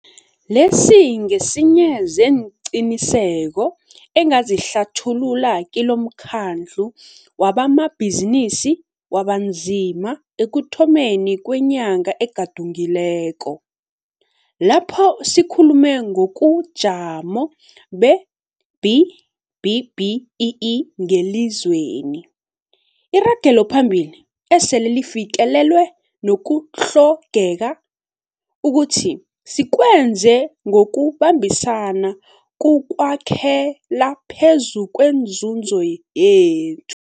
Lesi ngesinye seenqiniseko engazihlathulula kilomKhandlu wabamaBhizinisi wabaNzima ekuthomeni kwenyanga egadungileko, lapho sikhulume ngobujamo be-B-BBEE ngelizweni, iragelophambili esele lifikelelwe nokutlhogeka ukuthi sikwenze ngokubambisana kukwakhela phezu kwenzuzo yethu.